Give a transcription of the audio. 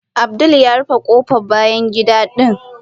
Abdul ya rufe kofar bayan gida din.